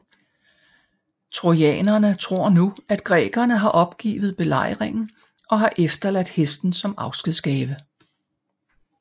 Trojanerne tror nu at grækerne har opgivet belejringen og har efterladt hesten som afskedsgave